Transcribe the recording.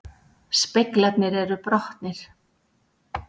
Speglarnir eru brotnir